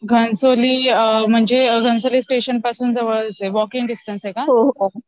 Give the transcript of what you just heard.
घणसोली म्हणजे घणसोली स्टेशन पासून जवळच आहे, वॉकिंग डिस्टन्स आहे का ?